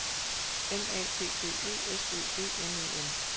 N A T T E S Ø V N E N